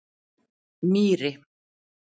Mýri